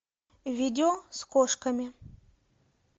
видео с кошками